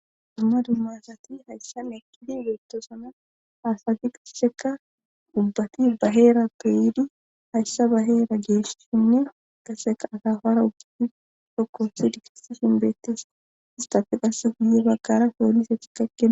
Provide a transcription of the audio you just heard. Dumma dumma asati hayssa lekidi beettosona haasati qasseka dubbati baheera peyidi hayssa baheera geeshsinne qasseka atafara uguddi sokko sidi kisi shinbeettes istafeqasse guye baggara soollisacci kakea.